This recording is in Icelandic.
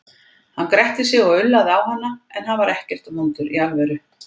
Hann gretti sig og ullaði á hana, en hann var ekkert vondur í alvöru.